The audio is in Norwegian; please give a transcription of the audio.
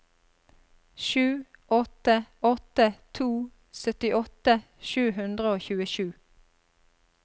sju åtte åtte to syttiåtte sju hundre og tjuesju